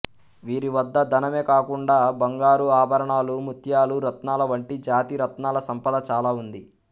వీరి వద్ద ధనమే కాకుండా బంగారు ఆభరణాలు ముత్యాలు రత్నాల వంటి జాతి రత్నాల సంపద చాల ఉంది